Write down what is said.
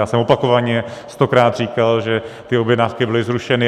Já jsem opakovaně, stokrát říkal, že ty objednávky byly zrušeny.